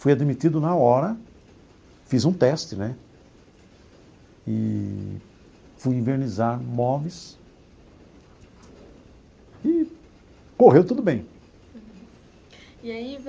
Fui admitido na hora, fiz um teste, né, eee fui envernizar móveis e correu tudo bem. Uhum e aí.